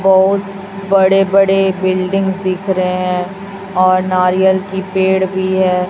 बहुत बड़े बड़े बिल्डिंग्स दिख रहे हैं और नारियल की पेड़ भी है।